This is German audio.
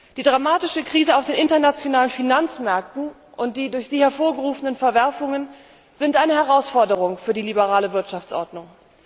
Die dramatische Krise auf den internationalen Finanzmärkten und die durch sie hervorgerufenen Verwerfungen sind eine Herausforderung für die liberale Wirtschaftsordnung.